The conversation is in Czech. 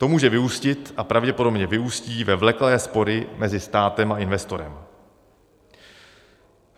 To může vyústit a pravděpodobně vyústí ve vleklé spory mezi státem a investorem.